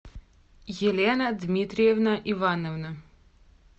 елена дмитриевна ивановна